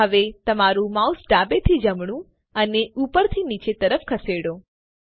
હવે તમારું માઉસ ડાબે થી જમણું અને ઉપરથી નીચેની તરફ ખસેડો